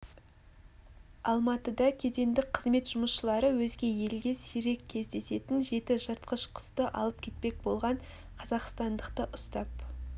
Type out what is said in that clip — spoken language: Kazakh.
алматыда кедендік қызмет жұмысшылары өзге елге сирек кездесетін жеті жыртқыш құсты алып кетпек болған қазақсатндықты ұстап